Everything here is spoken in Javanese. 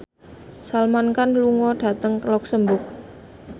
Salman Khan lunga dhateng luxemburg